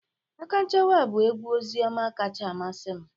Akanchawa bụ egwu ozioma kacha amasị m